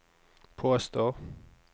påstår